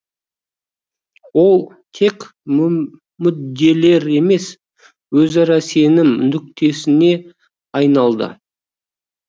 ол тек мүдделер емес өзара сенім нүктесіне айналды